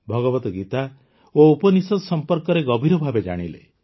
ଭଗବଦ୍ ଗୀତା ଓ ଉପନିଷଦ ସମ୍ପର୍କରେ ଗଭୀର ଭାବେ ଜାଣିଲେ